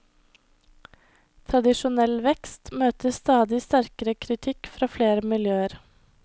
Tradisjonell vekst møter stadig sterkere kritikk fra flere miljøer.